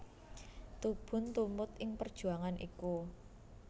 Tubun tumut ing perjuangan iku